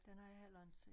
Den har jeg heller inte set